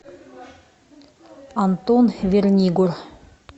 антон вернигор